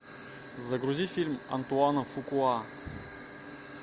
загрузи фильм антуана фукуа